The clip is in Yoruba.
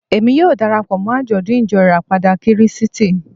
Èmi yóò dara pọ̀ mọ́ àjọ̀dún Ìjọ Ìràpadà Kírísítì